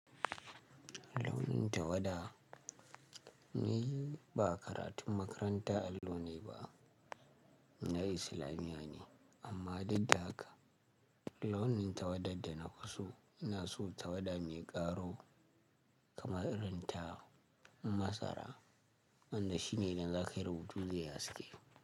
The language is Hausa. Launin tawada ni ba karatun makaranta allo nayi ba nayi islamiyane amma dauk da haka launin tawadad da nafiso ina so tawada mai ƙaro kamar irin ta masara wanda shine naga da aƙai rubutu zai yi haske.